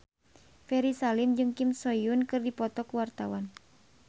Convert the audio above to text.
Ferry Salim jeung Kim So Hyun keur dipoto ku wartawan